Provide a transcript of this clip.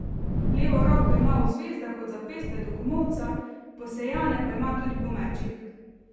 Levo roko ima v zvezdah od zapestja do komolca, posejane pa ima tudi po mečih.